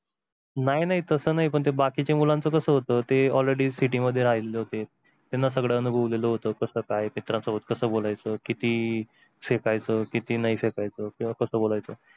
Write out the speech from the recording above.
नाही नाही तस नाही बाकीच्या मुलांचं कास होत ते already city मध्ये राहिलेले होते, त्यांनी सगळं अनुभवलेलं होत कस काय मित्रांसोबत कस बोलायच किती फेकायच किती नाही फेकायच किंवा कस बोलायच.